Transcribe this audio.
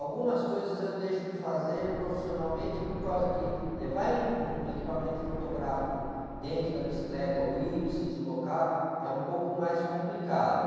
Algumas coisas eu deixo de fazer profissionalmente por causa que levar um equipamento fotográfico dentro da bicicleta ou ir se deslocar é um pouco mais complicado.